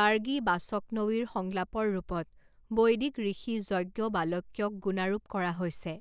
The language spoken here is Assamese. গাৰ্গী বাচকনৱীৰ সংলাপৰ ৰূপত বৈদিক ঋষি যজ্ঞবালক্যক গুণাৰোপ কৰা হৈছে।